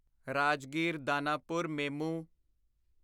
Rajgir Danapur MEMU